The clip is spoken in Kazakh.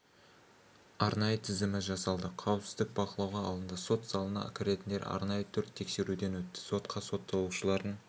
арнайы тізімі жасалды қауіпсіздік бақылауға алынды сот залына кіретіндер арнайы төрт тексеруден өтті сотқа сотталушылардың